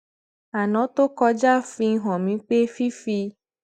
aná tó kọjá fi hàn mí pé fífi